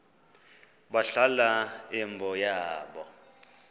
balahla imbo yabo